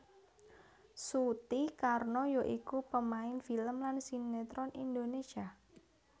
Suti Karno ya iku pemain film lan sinetron Indonésia